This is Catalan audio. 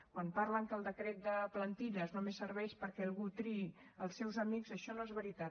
quan parlen que el decret de plantilles només serveix perquè algú triï els seus amics això no és veritat